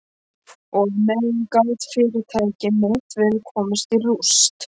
Og á meðan gat fyrirtæki mitt verið komið í rúst.